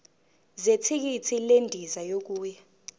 zethikithi lendiza yokuya